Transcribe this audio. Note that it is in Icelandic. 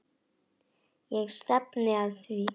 Ég stefni að því.